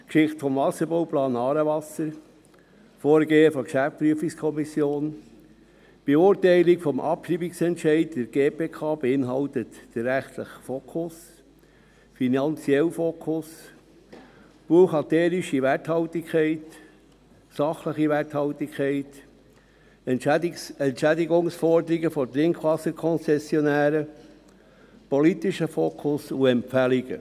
Geschichte des Wasserbauplans «Aarewasser», Vorgehen der GPK, Beurteilung des Abschreibungsentscheids in der GPK, rechtlicher Fokus, finanzieller Fokus, buchhalterische Werthaltigkeit, sachliche Werthaltigkeit, Entschädigungsforderungen der Trinkwasserkonzessionäre, politischer Fokus und Empfehlungen.